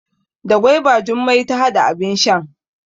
Da gwaiba Jummai ta hada abin shan.